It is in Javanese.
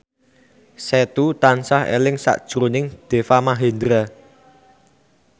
Setu tansah eling sakjroning Deva Mahendra